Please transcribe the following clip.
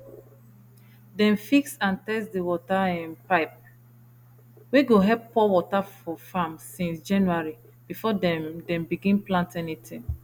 dem fix and test the water um pipe wey go help pour water for farm since january before dem dem begin plant anything